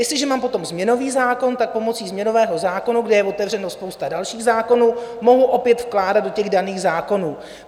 Jestliže mám potom změnový zákon, tak pomocí změnového zákona, kde je otevřena spousta dalších zákonů, mohu opět vkládat do těch daných zákonů.